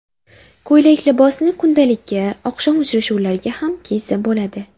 Ko‘ylak-libosni kundalikka, oqshom uchrashuvlariga ham kiysa bo‘ladi.